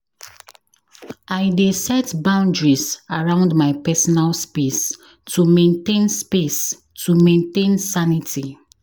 I dey set boundaries around my personal space to maintain space to maintain sanity.